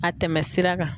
A tɛmɛ sira kan